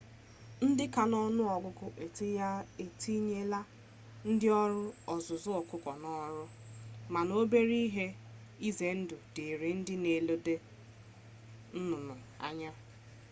ndị ka n'ọnụ ọgụgụ etinyela ndị ọrụ ọzụzụ ọkụkọ n'ọrụ mana obere ihe ize ndụ dịịrị ndị na eledo nnụnụ anya